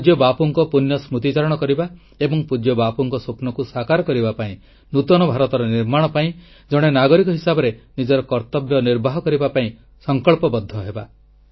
ପୂଜ୍ୟ ବାପୁଙ୍କ ପୁଣ୍ୟ ସ୍ମତିଚାରଣ କରିବା ଏବଂ ପୂଜ୍ୟ ବାପୁଙ୍କ ସ୍ୱପ୍ନକୁ ସାକାର କରିବା ପାଇଁ ନୂତନ ଭାରତର ନିର୍ମାଣ ପାଇଁ ଜଣେ ନାଗରିକ ହିସାବରେ ନିଜର କର୍ତ୍ତବ୍ୟ ନିର୍ବାହ କରିବା ପାଇଁ ସଂକଳ୍ପବଦ୍ଧ ହେବା